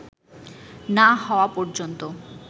না হওয়া পর্যন্ত